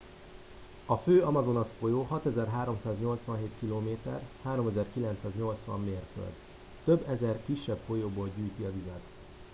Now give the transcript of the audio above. a fő amazonas-folyó 6387 km 3980 mérföld. több ezer kisebb folyóból gyűjti a vizet